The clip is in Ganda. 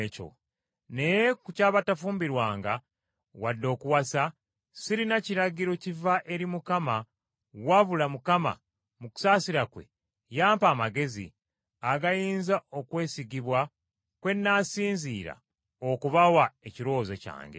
Naye ku ky’abatafumbirwanga wadde okuwasa, sirina kiragiro kiva eri Mukama wabula Mukama mu kusaasira kwe yampa amagezi agayinza okwesigibwa kwe nnaasinziira okubawa ekirowoozo kyange.